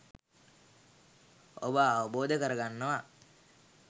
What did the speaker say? ඔබ අවබෝධ කරගන්නවා.